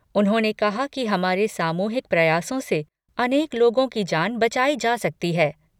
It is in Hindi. उन्होंने कहा कि हमारे सामूहिक प्रयासों से अनेक लोगों की जान बचाई जा सकी है।